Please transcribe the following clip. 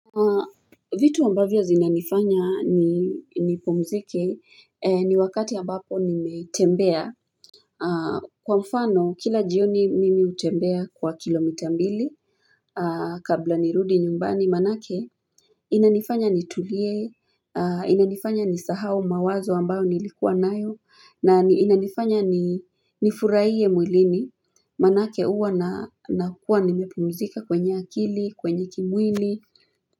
Vitu ambavyo zinanifanya nipumzike ni wakati ambapo nimetembea Kwa mfano kila jioni mimi hutembea kwa kilo mita mbili kabla nirudi nyumbani manake inanifanya nitulie inanifanya nisahau mawazo ambayo nilikuwa nayo na inanifanya nifuraie mwilini manake uwa na nakuwa nimepumzika kwenye akili kwenye kimwili.